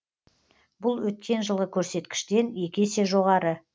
бұл өткен жылғы көрсеткіштен екі есе жоғары